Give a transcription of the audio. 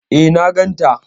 E, na ganta.